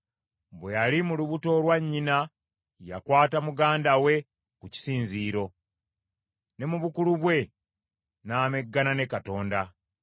Bwe yali mu lubuto lwa nnyina yakwata muganda we ku kisinziiro, ne mu bukulu bwe n’ameggana ne Katonda.